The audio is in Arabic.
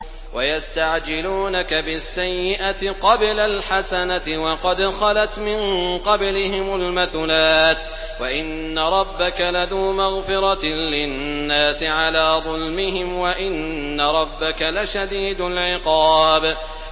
وَيَسْتَعْجِلُونَكَ بِالسَّيِّئَةِ قَبْلَ الْحَسَنَةِ وَقَدْ خَلَتْ مِن قَبْلِهِمُ الْمَثُلَاتُ ۗ وَإِنَّ رَبَّكَ لَذُو مَغْفِرَةٍ لِّلنَّاسِ عَلَىٰ ظُلْمِهِمْ ۖ وَإِنَّ رَبَّكَ لَشَدِيدُ الْعِقَابِ